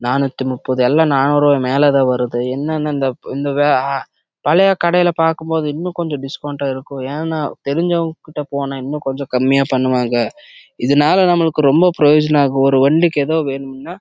அந்த கடையே பாக்கும் போது கொஞ்சம் போன டிஸ்கோவுண்ட் கெடைக்கும் நம்ப செரிஞ்சவங்க லாம் இருந்த டிஸ்கோவுண்ட் கெடைக்கும்